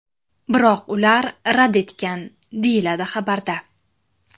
Biroq ular rad etgan”, deyiladi xabarda.